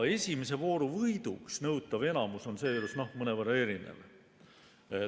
Esimese vooru võiduks nõutav enamus on seejuures mõnevõrra erinev.